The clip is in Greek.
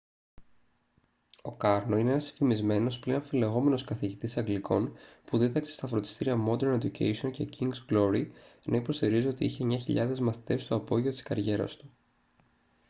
ο κάρνο είναι ένας φημισμένος πλην αμφιλεγόμενος καθηγητής αγγλικών που δίδαξε στα φροντιστήρια modern education και king's glory ενώ υποστηρίζει ότι είχε 9.000 μαθητές στο απόγειο της καριέρας του